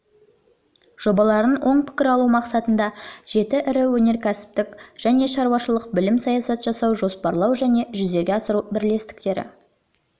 жобаларын оң пікір алу мақсатында жеті ірі өнеркәсіптік және шаруашылық бөлім саясат жасау жоспарлау және жүзеге асыру бірлестіктер